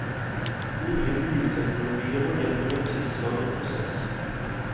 Nye bilteknologier må igjennom en tilsvarende prosess.